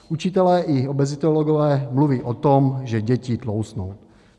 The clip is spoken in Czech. Učitelé i obezitologové mluví o tom, že děti tloustnou.